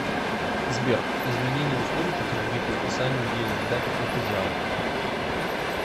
сбер изменение условий по кредиту списанию денег дате платежа